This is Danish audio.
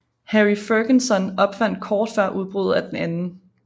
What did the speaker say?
Harry Ferguson opfandt kort før udbruddet af den 2